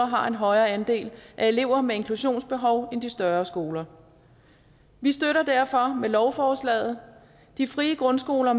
har en højere andel af elever med inklusionsbehov end de større skoler vi støtter derfor med lovforslaget de frie grundskoler